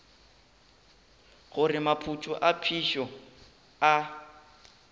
gore maphoto a phišo a